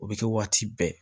O bɛ kɛ waati bɛɛ